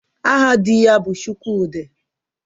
Aha di ya bụ Chukwudị